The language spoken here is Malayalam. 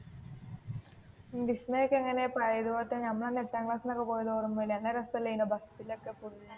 വിസ്‌മയ ഒക്കേ എങ്ങനെ പഴയ പോല തന്ന നമ്മൾ അന്ന് എട്ടാം ക്ലാസ്സിൽ ഒക്കേ പോയത് ഓർമ ഇല്ലേ നല്ല രസം അല്ലായിരുന്നോ ബസ്സിൽ ഒക്കേ